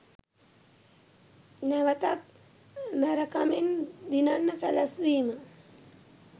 නැවතත් මැරකමෙන් දිනන්න සැලැස්වීම.